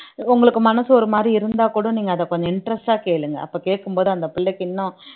உங்களுக்கு மனசு ஒரு மாதிரி இருந்தா கூட நீங்க அத கொஞ்சம் interest ஆ கேளுங்க அப்ப கேட்கும்போது அந்த பிள்ளைக்கு இன்னும்